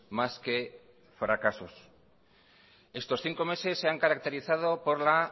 más que fracasos estos cinco meses se han caracterizado por la